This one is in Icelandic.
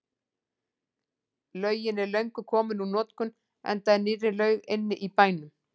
Laugin er löngu komin úr notkun enda er nýrri laug inni í bænum.